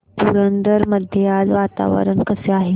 पुरंदर मध्ये आज वातावरण कसे आहे